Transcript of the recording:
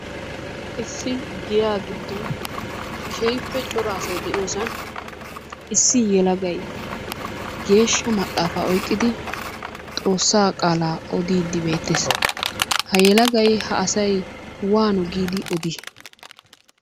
Issi giya giddon keehippe cora asay de'iyosan issi yelagay geeshsha maxaafa oyqqidi Xoossaa qaalaa odiidi beettees. Ha yelagay ha asay waano giidi odii?